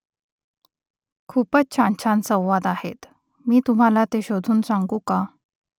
खूपसे छानछान संवाद आहेत . मी तुम्हाला ते शोधून सांगू का ?